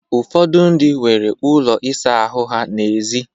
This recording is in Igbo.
Ụfọdụ ndị nwere ụlọ ịsa ahụ ha n'èzí